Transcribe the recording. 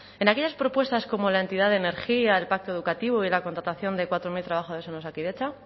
en aquellas propuestas como la entidad de energía el pacto educativo y la contratación de cuatro mil trabajadores en osakidetza